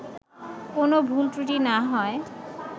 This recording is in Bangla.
কোনও ভুল ত্রুটি না হয়